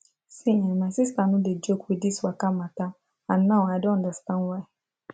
see um my sister no dey joke with this waka matter and now i don understand why